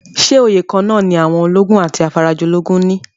Ṣé oyè kan-án-nà ní àwọn ológun àti afarajolúgun ní?